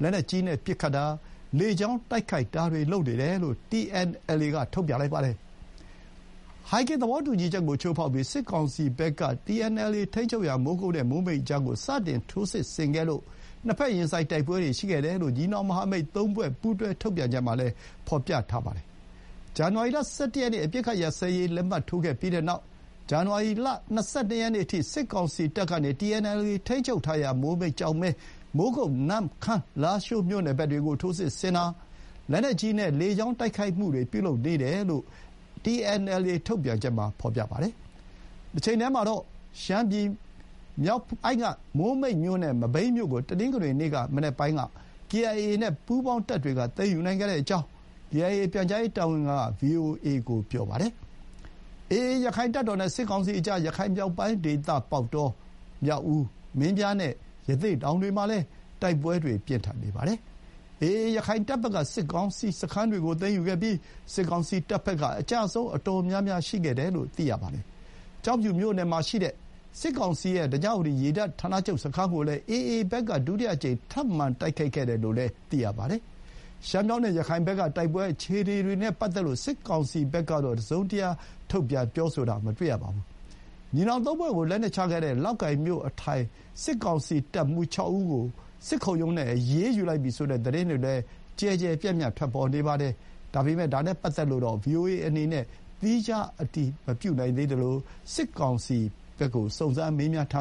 ၊ လက်နက်ကြီးနဲ့ပစ်ခတ်တာ၊ လေကြောင်းတိုက်ခိုက်တာတွေ လုပ်နေတယ်လို့ TNLA က ထုတ်ပြန်ပါတယ်။ ဟိုင်ဂင်သဘောတူညီချက်ကို ချိုးဖောက်ပြီး စစ်ကောင်စီဘက်က TNLA ထိန်းချုပ်ရာ မိုးကုတ်နဲ့မိုးမိတ်ကြားမှာာ စတင်ထိုးစစ်ဆင်ခဲ့လို့ နှစ်ဘက်ရင်ဆိုင်တိုက်ပွဲတွေရှိခဲ့တယ်လို့ ညီနောင်မဟာမိတ်သုံးဖွဲ့ ပူးတွဲထုတ်ပြန်ချက်မှာလည်း ဖော်ပြပါတယ်။ ဇန်နဝါလရီလ ၁၁ ရက်နေ့ အပစ်ခတ်ရပ်စဲရေးလက်မှတ် ထိုးခဲ့ပြီးနောက် ဇန်နဝါရီလ ၂၂ ရက်နေ့အထိ စစ်ကောင်စီတပ်ကနေ TNLA ထိန်းချုပ်ထားရာ မိုးမိတ်၊ ကျောက်မဲ၊ မိုးကုတ်၊ နမ့်ခမ်း၊ လားရှိးမြိုနယ်ဘက်တွေကို ထိုးစစ်ဆင်တာ၊ လက်နက်ကြီးနဲ့ လေကြောင်းတိုက်ခိုက်မှုတွေ ပြုလုပ်နေတယ်လို့ TNLA ထုတ်ပြန်ချက်မှာဖော်ပြပါတယ်။ တချိန်တည်းမှာတော့ ရှမ်းပြည်နယ်မြောက်ပိုင်းက မိုးမိတ်မြို့နဲ့ မဘိမ်းမြို့ကို တနင်္ဂနွေနေ့ မနက်ပိုင်းက KIA နဲ့ ပူးပေါင်းတပ်တွေက သိမ်းယူနိုင်ခဲ့ကြောင်း KIA ပြန်ကြားရေးတာဝန်ခံက VOA ကို ပြောခဲ့ပါတယ်။ AA ရခိုင့်တပ်တော်နဲ့ စစ်ကောင်စီကြား ရခိုင်မြောက်ပိုင်းဒေသ ပေါက်တော၊ မြောက်ဦး၊ မင်းပြားနဲ့ ရသေ့တောင်တွေမှာလည်း တိုက်ပွဲတွေပြင်းထန်နေပါတယ်။ AA ရခိုင်တပ်ဘက်က စစ်ကောင်စီစခန်းတွေကို သိမ်းယူခဲ့ပြီး စစ်ကောင်စီတပ်ဘက်က အကျအဆုံးအတော်များများရှိခဲ့တယ်လို့ သိရပါတယ်။ ကျောက်ဖြူမြို့နယ်မှာရှိတဲ့ စစ်ကောင်စီရဲ့ ဓညဝတီရေတပ်ဌာနချုပ်စခန်းကိုလည်း AA ဘက်က ဒုတိယအကြိမ်ထပ်မံတိုက်ခိုက်ခဲ့တယ်လို့လည်း သိရပါတယ်။ ရှမ်းမြောက်နဲ့ ရခိုင်ဘက်က တိုက်ပွဲအခြေအနေတွေနဲ့ပတ်သက်လို့ စစ်ကောင်စီဘက်ကတော့ တစုံတရာထုတ်ပြန်ပြောဆိုတာ မတွေ့ရပါဘူး။ ညီနောင်သုံးဖွဲ့ကို လက်နက်ချခဲ့တဲ့ လောက်ကိုင်မြို့အထိုင် စစ်ကောင်စီရဲ့တပ်မှူး ၆ ဦးကို စစ်ခုံရုံးနဲ့အရေးယူလိုက်ပြီဆိုတဲ့ သတင်းတွေလည်း ကျယ်ကျယ်ပြန့်ပြန့်ထွက်ပေါ်နေပါတယ်။ ဒါနဲ့ပတ်သက်လို့တော့ VOA အနေနဲ့ သီးခြားအတည်မပြုနိုင်သေးသလို စစ်ကောင်စီဘက်ကို စုံစမ်းမေးမြန်းထာ